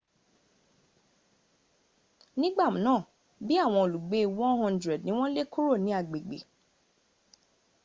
nigba naa bii awon olugbe 100 ni won le kuro ni agbegbe